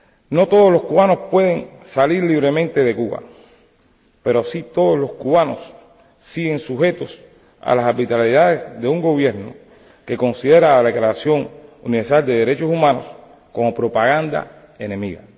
No todos los cubanos pueden salir libremente de Cuba, pero sí todos los cubanos siguen sujetos a las arbitrariedades de un gobierno que considera la Declaración Universal de Derechos Humanos como propaganda enemiga.